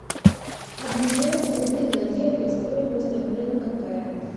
обменять рубли на евро стоимость обмена какая